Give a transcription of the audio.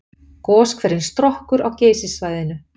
Goshverinn Strokkur á Geysissvæðinu.